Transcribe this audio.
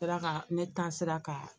Sera ka ne ta sera ka